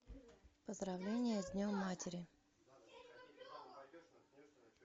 поздравление с днем матери